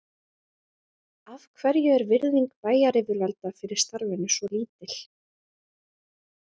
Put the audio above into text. Af hverju er virðing bæjaryfirvalda fyrir starfinu svo lítil?